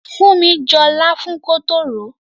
Funmi jọ láfún kótó ròó.